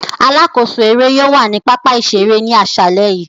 Alakoso ere yóò wa ni papa-iṣere ni aṣalẹ yii.